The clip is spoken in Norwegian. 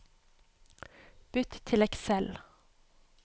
Bytt til Excel